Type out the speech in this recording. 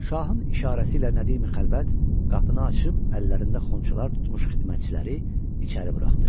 Şahın işarəsi ilə Nədimi Xəlvət qapını açıb əllərində xonçalar tutmuş xidmətçiləri içəri buraxdı.